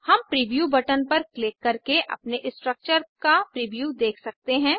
हम preview button पर click करके अपने स्ट्रक्चर का प्रीव्यू देख सकते हैं